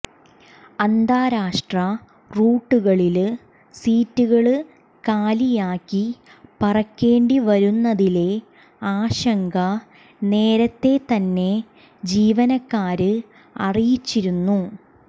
അന്താരാഷ്ട്ര റൂട്ടുകളില് സീറ്റുകള് കാലിയാക്കി പറക്കേണ്ടി വരുന്നതിലെ ആശങ്ക നേരത്തെ തന്നെ ജീവനക്കാര് അറിയിച്ചിരുന്നു